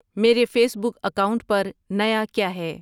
میرے Facebook account پر نیا کیا ہے